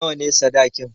Nawa ne sadakin?